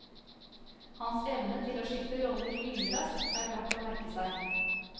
Hans evne til å skifte roller lynraskt er verd å merke seg.